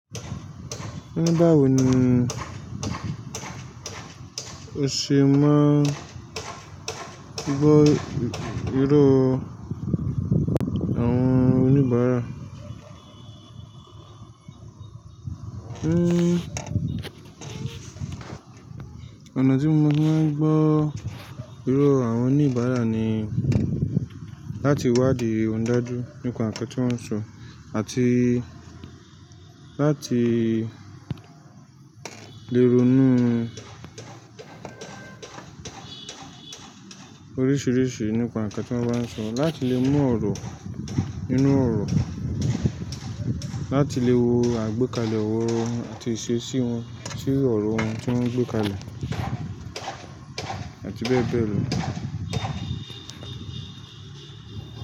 Oní báwo nii o ṣe máa n gbọ́ ìró àwọn oníbàárà. Ën, ọ̀nà tí mo fi máa ń gbọ́ ìró àwọn oníbàárà ni láti wádìí daju nípa ǹkan tí wọ́n ń sọ àti láti lè ronú oríṣìíríṣìí nípa ǹkan tí wọ́n bá ń sọ, láti lè mú ọ̀rọ̀ inú ọ̀rọ̀, láti lè wo àgbékalẹ̀ ọ̀rọ̀ wọn àti ìṣe sí wọn, sí ọ̀rọ̀ wọn tí wọ́n ń gbé kalẹ̀, àti bẹ́ẹ̀ bẹ́ẹ̀ lọ.